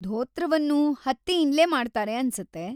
ಧೋತ್ರವನ್ನೂ ಹತ್ತಿಯಿಂದ್ಲೇ ಮಾಡ್ತಾರೆ ಅನ್ಸತ್ತೆ.